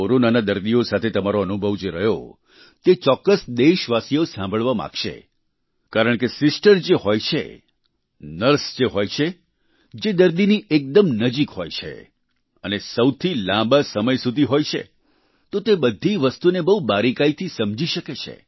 કોરોનાના દર્દીઓ સાથે તમારો અનુભવ જે રહ્યો તે ચોક્કસ દેશવાસીઓ સાંભળવા માંગશે કારણ કે સિસ્ટર જે હોય છે નર્સ જે હોય છે જે દર્દીની એકદમ નજીક હોય છે અને સૌથી લાંબા સમય સુધી હોય છે તો તે બધી વસ્તુને બહુ બારિકાઈથી સમજી શકે છે